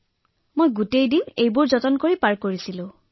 মই মোৰ দৈনিক জীৱনৰ এই সকলোবোৰ বস্তুৱেই গ্ৰহণ কৰিছো